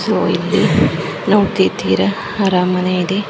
So ಇಲ್ಲಿ ನೋಡತಿದ್ದಿರ ಅರಮನೆ.